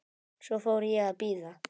Svo fór ég að bíða.